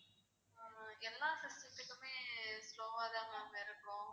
ஆமா எல்லாம் system த்துக்குமே slow வா தான் ma'am இருக்கும்